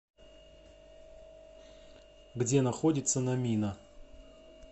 где находится номина